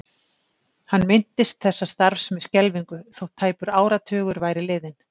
Hann minntist þessa starfs með skelfingu þótt tæpur áratugur væri liðinn.